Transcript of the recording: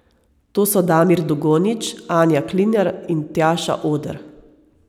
To so Damir Dugonjić, Anja Klinar in Tjaša Oder.